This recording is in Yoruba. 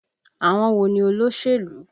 Àwọn wo ni olóṣèlú?